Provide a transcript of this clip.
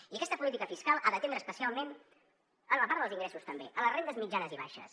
i aquesta política fiscal ha d’atendre especialment en la part dels ingressos també les rendes mitjanes i baixes